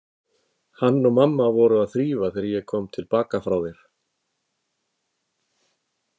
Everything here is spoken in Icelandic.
Hann og mamma voru að þrífa þegar ég kom til baka frá þér.